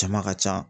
Jama ka ca